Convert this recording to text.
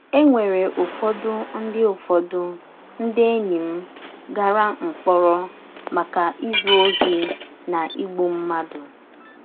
È nwerè Ụ́fọdụ̀ ndí Ụ́fọdụ̀ ndí ènì m gàrà mkpòrọ̀ maka ízù òhì na ígbù mmádụ.